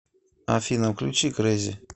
афина включи крейзи